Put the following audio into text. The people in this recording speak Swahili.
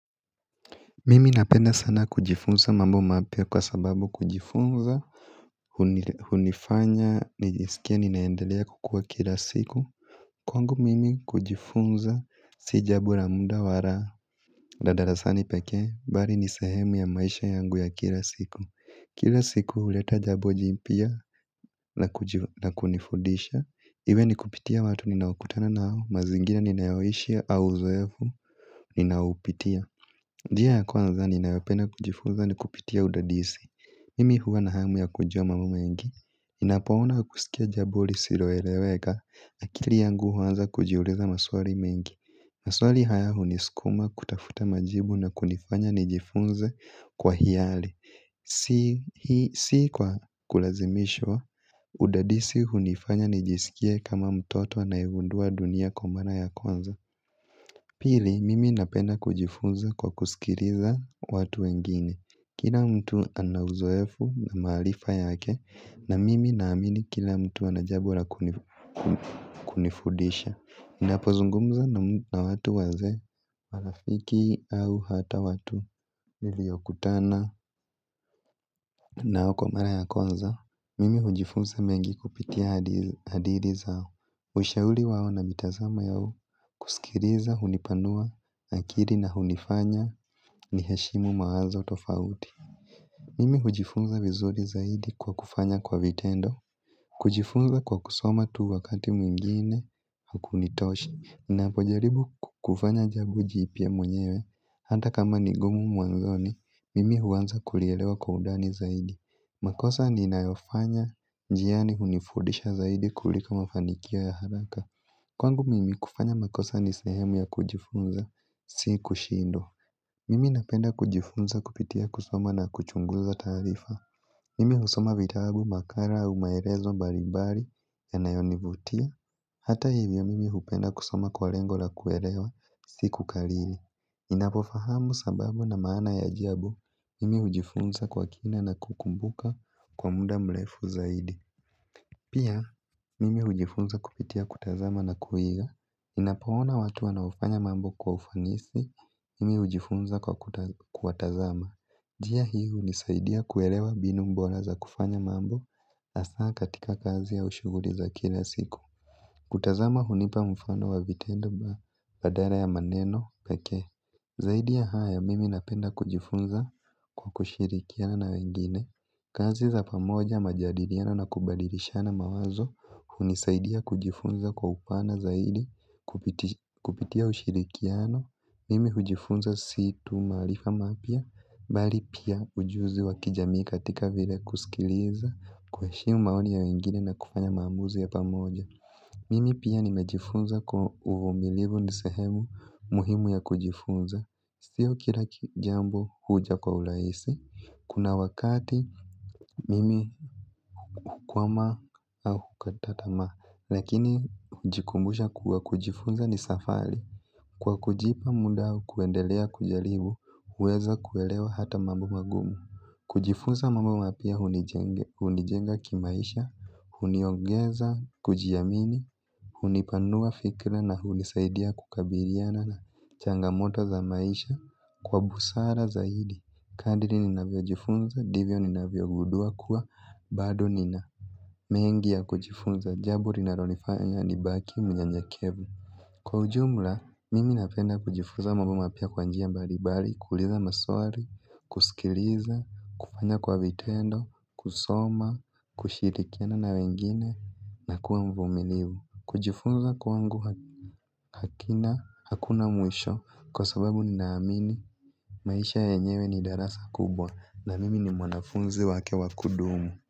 Mimi napenda sana kujifunza mambo mapya kwa sababu kujifunza. Hunifanya nijisikie ninaendelea kukua kila siku. Kwangu mimi kujifunza si jambo la muda wala la darasani peke bali ni sehemu ya maisha yangu ya kila siku. Kila siku huleta jambo jipya na kunifudisha iwe nikupitia watu ninaokutana nao, mazingira ninayoishi au uzoevu ninaupitia. Njia ya kwanza ninayopenda kujifunza ni kupitia udadisi. Mimi huwa na hamu ya kujua mambo mengi ninapo ona kusikia jambo lisiloeleweka akili yangu huanza kujiuliza maswali mengi. Maswali haya huniskuma kutafuta majibu na kunifanya nijifunze kwa hiari. Si kwa kulazimishwa udadisi hunifanya nijisikie kama mtoto anayengundua dunia kwa mara ya kwanza. Pili, mimi napenda kujifunza kwa kusikiliza watu wengine. Kila mtu ana uzoefu maharifa yake na mimi naamini kila mtu anajambo la kunifudisha. Napo zungumza na watu wazee, marafiki au hata watu niliyokutana nao kwa mara ya kwanza. Mimi hujifunza mengi kupitia hadiri zao. Ushauri wawo na mitazamo yao. Kusikiliza, hunipanua, akili na hunifanya ni heshimu mawazo tofauti. Mimi hujifunza vizuri zaidi kwa kufanya kwa vitendo. Kujifunza kwa kusoma tu wakati mwingine hukunitoshi ninapojaribu kufanya jambo jipya mwenyewe. Hata kama nigumu mwanzoni mimi huanza kulielewa kwa undani zaidi. Makosa ninayofanya, njiani hunifudisha zaidi kuliko mafanikio ya haraka. Kwangu mimi kufanya makosa ni sehemu ya kujifunza, si kushindwa. Mimi napenda kujifunza kupitia kusoma na kuchunguza taarifa. Mimi husoma vitabu makala au maelezo mbal mbali yanayonivutia. Hata hivyo mimi hupenda kusoma kwa lengo la kuelewa, si kukariri ninapo fahamu sababu na maana ya jambo, mimi hujifunza kwa kina na kukumbuka kwa muda mrefu zaidi, pia mimi hujifunza kupitia kutazama na kuiga ninapoona watu wanaofanya mambo kwa ufanisi, mimi hujifunza kwa kuwatazama njia hii hunisaidia kuelewa mbinu bora za kufanya mambo asaa katika kazi au shuguli za kila siku. Kutazama hunipa mfano wa vitendo badal ya maneno pekee. Zaidia ya haya mimi napenda kujifunza kwa kushirikiana na wengine. Kazi za pamoja majadiliano na kubadilishana mawazo hunisaidia kujifunza kwa upana zaidi kupitia ushirikiano. Mimi kujifunza si tu maarifa mapya bali pia ujuzi wakijamii katika vile kusikiliza kuheshimu maoni ya wengine na kufanya maamuzi ya pamoja. Mimi pia nimejifunza kuwa uvumilivu nisehemu muhimu ya kujifunza. Sio kila jambo huja kwa uraisi. Kuna wakati mimi kukwama au katatama lakini hujikumbusha kuwa kujifunza ni safari. Kwa kujipa muda au kuendelea kujaribu uweza kuelewa hata mambo magumu. Kujifunza mambo mapya hunijenga kimaisha huniongeza, kujiamini. Hunipanua fikra na hunisaidia kukabiliana na changamoto za maisha. Kwa busara zaidi kadhiri ninavyo jifunza ndivyo ninavyo gudua kuwa bado nina mengi ya kujifunza. Jabo linalonifanya ni baki mnyenyekevu. Kwa ujumla. Mimi napenda kujifunza mambo mapya kwa njia mbali mbali. Kuuliza maswali. Kusikiliza. Kufanya kwa vitendo. Kusoma. Kushirikiana na wengine na kuwa mvumilivu. Kujifunza kwangu hakina hakuna mwisho kwa sababu ninaamini, maisha yenyewe ni darasa kubwa na mimi ni mwanafunzi wake wakudumu.